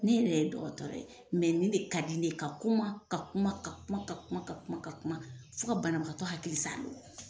Ne yɛrɛ dɔgɔtɔrɔ ye, mɛ nin de ka ka di ne ye, ka kuma ka kuma ka kuma ka kuma ka kuma fɔ ka banabagatɔ hakili salo!